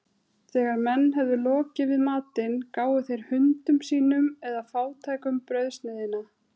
Þegar menn höfðu lokið við matinn, gáfu þeir hundum sínum eða fátækum brauðsneiðina.